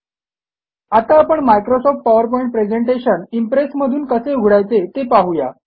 आता आपण Microsoft PowerPoint presentation Impress मधून कसे उघडायचे ते पाहू या